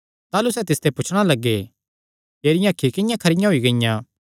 ताह़लू सैह़ तिसते पुछणा लग्गे तेरियां अखीं किंआं खरी होई गियां